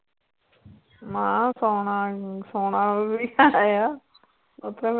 ਮੈਂ ਸੌਣਾ ਸੌਣਾ ਵੀ ਹੈ ਆ